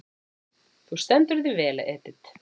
Þú stendur þig vel, Edit!